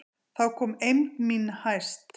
Þá komst eymd mín hæst.